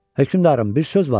Hökmdarım, bir söz var.